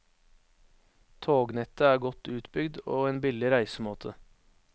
Tognettet er godt utbygd, og en billig reisemåte.